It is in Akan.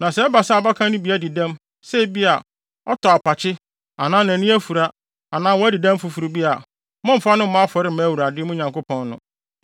Na sɛ ɛba sɛ abakan no bi adi dɛm, sɛ ebia, ɔtɔ apakye anaa nʼani afura anaa wadi dɛm foforo bi a, mommfa no mmɔ afɔre mma Awurade, mo Nyankopɔn no.